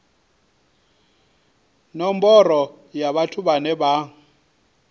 nomboro ya vhathu vhane vha